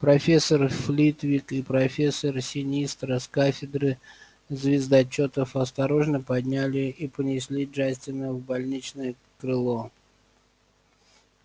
профессор флитвик и профессор синистра с кафедры звездочётов осторожно подняли и понесли джастина в больничное крыло